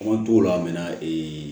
An t'o la min na ee